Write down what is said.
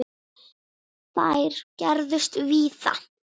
Þær gerðust víða.